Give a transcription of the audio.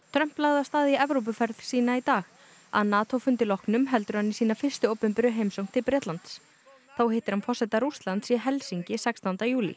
Trump lagði af stað í Evrópuferð sína í dag að NATO fundi loknum heldur hann í sína fyrstu opinberu heimsókn til Bretlands þá hittir hann forseta Rússlands í Helsinki sextánda júlí